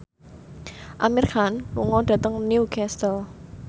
Amir Khan lunga dhateng Newcastle